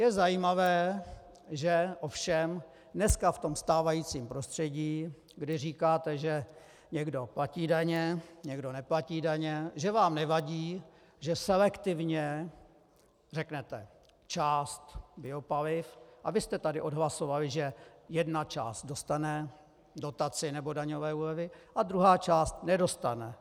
Je zajímavé, že ovšem dneska v tom stávajícím prostředí, kdy říkáte, že někdo platí daně, někdo neplatí daně, že vám nevadí, že selektivně řeknete část biopaliv, a vy jste tady odhlasovali, že jedna část dostane dotaci nebo daňové úlevy a druhá část nedostane.